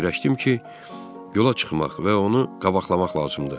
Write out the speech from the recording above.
Fikirləşdim ki, yola çıxmaq və onu qabaqlamaq lazımdır.